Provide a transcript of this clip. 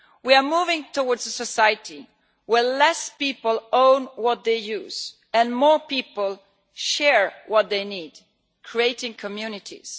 We are moving towards a society where fewer people own what they use and more people share what they need, creating communities.